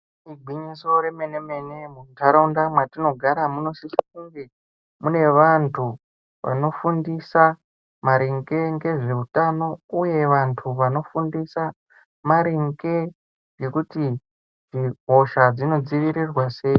Igwinyiso remene mene mundaraunda matinogara munosisa kunge mune vanu vanofundisa maringe ngezveutano uye vantu vanofundisa maringe ngekuti hosha dzinodzivirirwa sei.